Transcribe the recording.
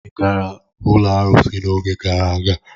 Ị gara ụlọ arụsị n'oge gara aga?